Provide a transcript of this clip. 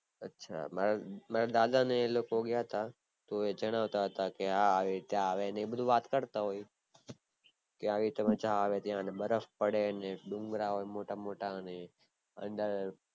આછા મારા મારા દાદા ને એ લોકો ગયા હતા તો એ જણાવતા હતા કે અ આવી રીતે આવે ને બધું વાત કરતા હોય ત્યાં આવી મજા આવે ને બરફ પડે ને ડુંગરા હોય મોટા મોટા અંદર